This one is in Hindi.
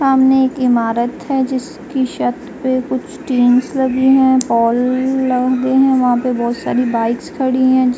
सामने एक इमारत है जिसकी शर्त पे कुछ टींस लगे हैं लगे हैं। वहां पे बोहोत सारी बाइक्स खड़ी हैं।